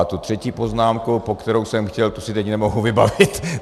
A tu třetí poznámku, po kterou jsem chtěl, tu si teď nemohu vybavit.